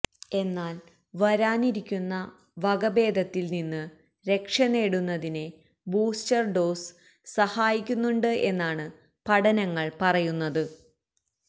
എന്നാല് വരാനിരിക്കുന്ന വകഭേദത്തില് നിന്ന് രക്ഷ നേടുന്നതിന് ബൂസ്റ്റര് ഡോസ് സഹായിക്കുന്നുണ്ട് എന്നാണ് പഠനങ്ങള് പറയുന്നത്